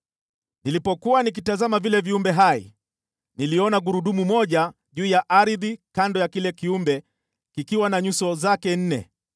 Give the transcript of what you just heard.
Nilipokuwa nikitazama vile viumbe hai, niliona gurudumu moja juu ya ardhi kando ya kila kiumbe kikiwa na nyuso zake nne.